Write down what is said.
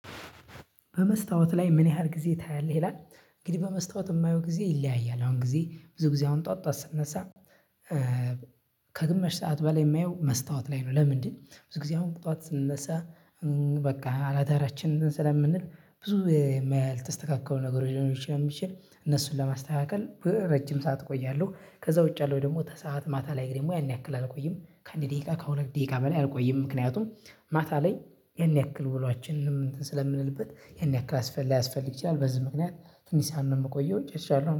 በመስታወት ላይ ምን ያህል ጊዜ ታያለህ ይላል? እንግዲህ በመስታወት እማየው ጊዜ ይለያያል አሁን ጊዜ ብዙ ጊዜ አሁን ጧት ጧት ስነሳ ከግማሽ ሰዓት በላይ የማየው መስታወት ላይ ነው። ለምንድን? ብዙ ጊዜ አሁን ጧት ስንነሳ በቃ አላዳራችንን ስለምንል ብዙ ያልተስተካከሉ ነገር ሊኖሩ ስለሚችል እነሱን ለማስተካከል ረጅም ሰዓት እቆያለሁ። ከዛ ውጭ ያለው ደግሞ ከስአት ማታ ላይ ደግሞ ያን ያክል አልቆይም ከአንድ ደቂቃ ከሁለት ደቂቃ በላይ አልቆይም። ምክንያቱም ማታ ላይ ያን ያክል ውሏችንንም እንትን ስለምንልበት ይሄን ያክል ላያስፈልግ ይችላል። በዚህ ምክንያት ትንሽ ሰዓት ነው የምቆየው። ጨርሻለሁ